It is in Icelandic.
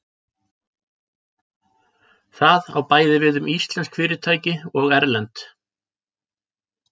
Það á bæði við um íslensk fyrirtæki og erlend.